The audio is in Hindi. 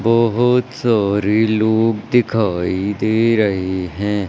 बहोत सारे लोग दिखाई दे रहे हैं।